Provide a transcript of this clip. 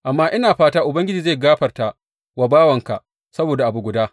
Amma ina fata Ubangiji zai gafarta wa bawanka saboda abu guda.